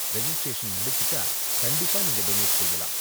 Registration முடிச்சிட்டா, கண்டிப்பா நீங்க டொனேட் செய்யலாம்.